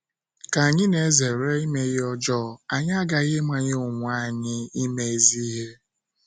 Ka anyị na - ezere ime ihe ọjọọ, anyị aghaghị ịmanye onwe anyị ime ezi ihe.